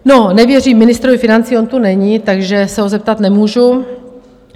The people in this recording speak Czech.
No, nevěřím ministrovi financí, on tu není, takže se ho zeptat nemůžu.